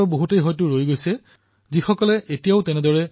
কিছুমান লোকৰ কিনিবলৈ এতিয়াও বাকী আছে